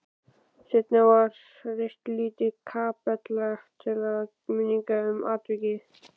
Seinna var reist lítil kapella til minningar um atvikið.